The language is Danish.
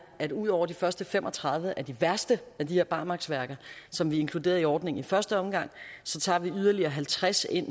at ud over de første fem og tredive af de værste af de her barmarksværker som vi inkluderede i ordningen i første omgang tager vi nu yderligere halvtreds ind